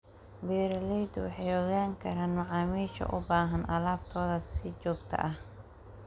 Beeraleydu waxay ogaan karaan macaamiisha u baahan alaabtooda si joogto ah.